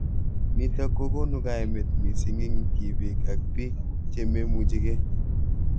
Nitok kokonu kaimet mising ing tipik ak pik che memuchi kei.